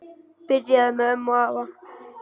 Byrjaði með ömmu og afa